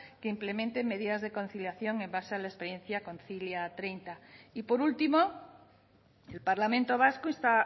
que implementen medidas de conciliación en base a la experiencia kontzilia treinta y por último el parlamento vasco insta